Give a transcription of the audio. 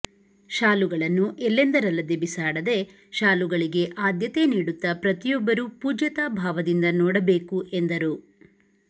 ಶಾಲುಗಳನ್ನು ಎಲ್ಲೆಂದರಲ್ಲದೆ ಬಿಸಾಡದೆ ಶಾಲುಗಳಿಗೆ ಆದ್ಯತೆ ನೀಡುತ್ತಾ ಪ್ರತಿಯೊಬ್ಬರು ಪೂಜ್ಯತಾ ಭಾವದಿಂದ ನೋಡಬೇಕು ಎಂದರು